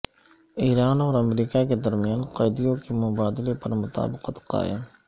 ایران اور امریکہ کے درمیان قیدیوں کے مبادلے پر مطابقت قائم